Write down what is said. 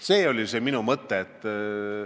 See oli see minu mõte.